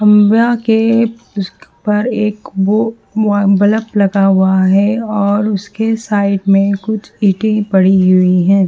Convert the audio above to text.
एक वो बल्ब लगा हुआ है और उसके साइड में कुछ ईंटें पड़ी हुई हैं।